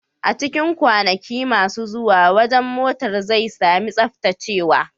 A cikin kwanaki masu zuwa, wajen motar zai sami tsaftacewa.